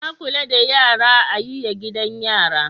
Na kula da yara a yiya gidanbyara